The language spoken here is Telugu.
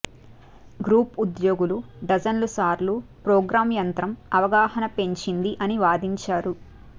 గ్రూప్ ఉద్యోగులు డజన్ల సార్లు ప్రోగ్రామ్ యంత్రం అవగాహన పెంచింది అని వాదించారు